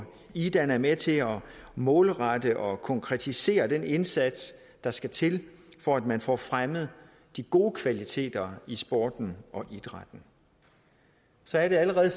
idan er med til at målrette og konkretisere den indsats der skal til for at man får fremmet de gode kvaliteter i sporten og idrætten så er der allerede